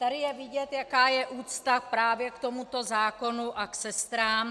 Tady je vidět, jaká je úcta právě k tomuto zákonu a k sestrám.